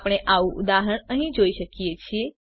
આપણે આવું ઉદાહરણ અહીં જોઈ શકીએ છીએ